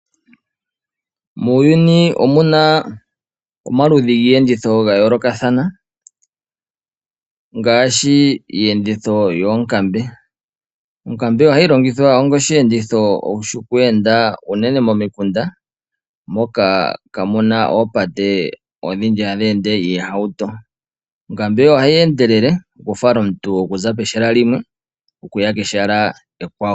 Muuyuni omuna omaludhi giiyenditho ga yoolokathana ngaashi iiyenditho yoonkambe .Onkambe ohayi longithwa onga osheenditho shoku enda unene momikunda moka kaamuna oopate odhindji hadhi ende iihauto. Onkambe ohayi endele okufala omuntu okuza pehala limwe okuya kehala ekwawo.